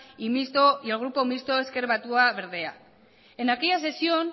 y el grupo mixto ezker batua berdeak en aquella sesión